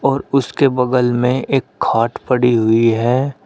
और उसके बगल में एक खाट पड़ी हुई है।